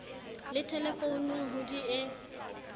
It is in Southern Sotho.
le thelefounung ho di e